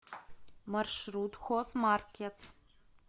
маршрут хозмаркет